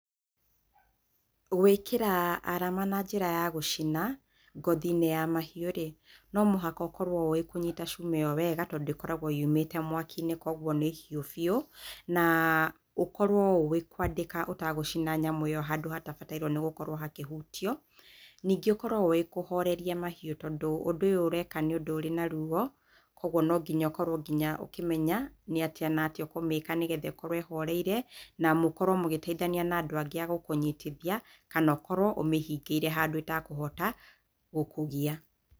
Gũĩkĩra arama na njĩra ya gũcina, ngothi-inĩ ya mahiũ-rĩ, no mũhaka ũkorwo ũĩ kũnyita cuma ĩyo wega, tondũ ĩkoragwo yumĩte mwaki-inĩ koguo nĩ hiũ biũ, na ũkorwo ũĩ kwandĩka ũtegũcina nyamũ ĩyo handũ hatabataire gũkorwo hakĩhutio, nĩngĩ ũkorwo ũĩ kũhoreria mahiũ tondũ ũndũ ũyũ ũreka wĩna rũo, koguo nonginya ũkorwo ũkĩmenya nĩatĩa na atĩa ũkũmĩka nĩgetha ĩkorwo ĩhoreire, na mũkorwo mũgĩteithania na andũ angĩ a gũkũnyitithia, kana ũkorwo ũmĩhingĩire handũ ĩtekũhota gũkũgia.